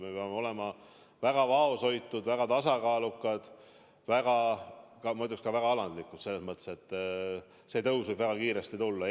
Me peame olema väga vaoshoitud, väga tasakaalukad, muidugi ka väga alandlikud selles mõttes, et see näitaja tõus võib väga kiiresti tulla.